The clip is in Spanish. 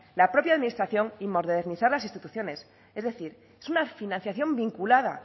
la propia administración y modernizar las instituciones es decir es una financiación vinculadas